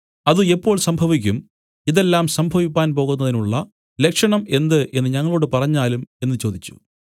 അത് എപ്പോൾ സംഭവിക്കും ഇതെല്ലാം സംഭവിപ്പാൻ പോകുന്നതിനുള്ള ലക്ഷണം എന്ത് എന്നു ഞങ്ങളോടു പറഞ്ഞാലും എന്നു ചോദിച്ചു